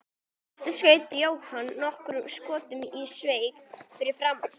Aftur skaut Jóhann nokkrum skotum í sveig fyrir framan sig.